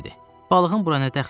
Balığın bura nə dəxli?